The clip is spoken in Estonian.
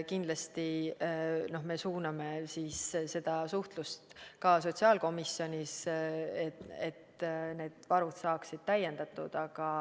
Kindlasti me suuname seda suhtlust ka sotsiaalkomisjonis, et need varud saaksid täiendatud.